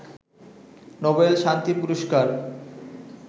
Nobel শান্তি পুরস্কার